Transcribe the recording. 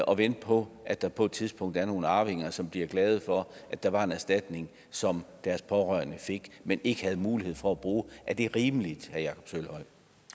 og vente på at der på et tidspunkt er nogle arvinger som bliver glade for at der var en erstatning som deres pårørende fik men ikke havde mulighed for at bruge er det rimeligt